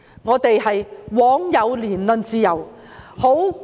我們枉有言論自由。